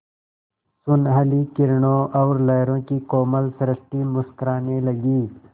सुनहली किरणों और लहरों की कोमल सृष्टि मुस्कराने लगी